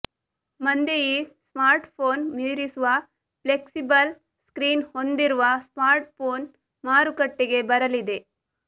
ಮಂದೆ ಈ ಸ್ಮಾರ್ಟ್ಫೋನ್ ಮೀರಿಸುವ ಫ್ಲೆಕ್ಸಿಬಲ್ ಸ್ಕ್ರೀನ್ ಹೊಂದಿರುವ ಸ್ಮಾರ್ಟ್ಫೋನ್ ಮಾರುಕಟ್ಟೆಗೆ ಬರಲಿದೆ